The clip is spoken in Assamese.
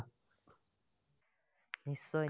নিশ্চয়,